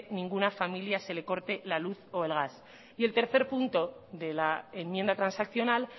ninguna familia se le corte la luz o el gas y el tercer punto de la enmienda transaccional